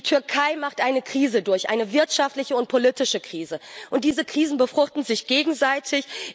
Die Türkei macht eine Krise durch, eine wirtschaftliche und politische Krise, und diese Krisen befruchten sich gegenseitig.